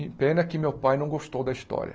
E pena que meu pai não gostou da história.